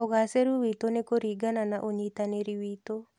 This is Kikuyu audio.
ũgacĩĩru witũ nĩ kũringana na ũnyitanĩri witũ.